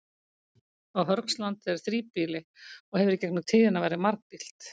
Á Hörgslandi er þríbýli og hefur í gegnum tíðina verið margbýlt.